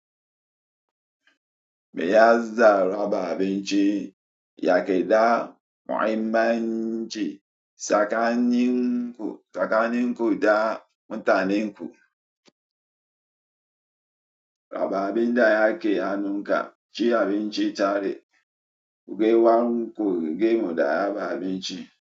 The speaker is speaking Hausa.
Me ya zara baabinci yake da muhimmanci tsakanin ku da mutanenku. Ba abinda yake hannunka cin abinci tare, ku gan ƴan uwanku cin abinci tare.